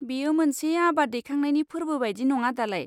बेयो मोनसे आबाद दैखांनायनि फोरबो बायदि नङा दालाय?